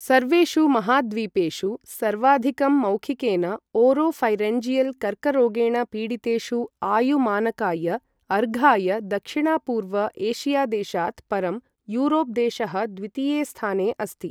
सर्वेषु महाद्वीपेषु सर्वाधिकं मौखिकेन ओरोफ़ैरिन्जियल् कर्करोगेण पीडितेषु आयु मानकाय अर्घाय दक्षिणपूर्व एशिया देशात् परं यूरोप् देशः द्वितीये स्थाने अस्ति।